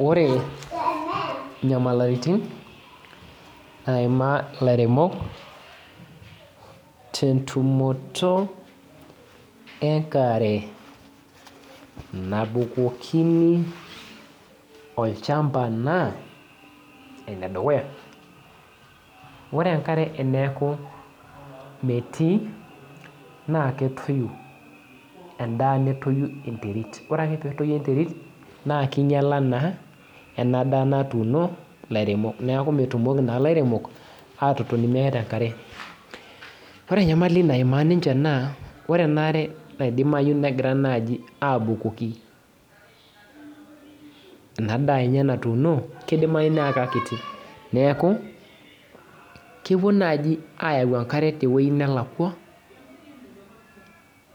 Ore nyamalitin naimaa lairemok tentumoto enkare nabukokini olchamba na enedukuya na ore enkare teneaku metii na ketoyu endaa netoyu enterit ore petoyu enterit na kinyala na enadaa natuuno laremok neaku metumoki laremok atotoni meeta enkare ore enyamali naima ninche na metumoki laremok atotoni meeta enkare ore enaare natumoi negira nai abukoki enadaa enye natuuno kidimayu nitumiai akiti neaku kepuo naji ayau enkare tewueji nalakwa